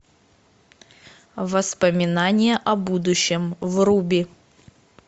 воспоминания о будущем вруби